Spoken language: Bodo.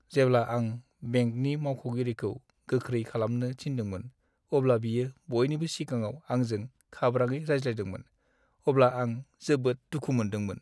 जेब्ला आं बेंकनि मावख'गिरिखौ गोख्रै खालामनो थिनदोंमोन अब्ला बियो बयनिबो सिगाङाव आंजों खाब्राङै रायज्लायदोंमोन, अब्ला आं जोबोद दुखु मोनदोंमोन।